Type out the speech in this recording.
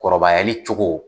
Kɔrɔbayali cogo.